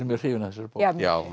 mjög hrifin af þessari bók já